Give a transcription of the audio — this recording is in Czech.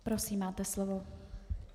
Prosím, máte slovo.